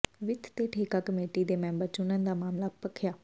ਵਿੱਤ ਤੇ ਠੇਕਾ ਕਮੇਟੀ ਦੇ ਮੈਂਬਰ ਚੁਣਨ ਦਾ ਮਾਮਲਾ ਭਖਿਆ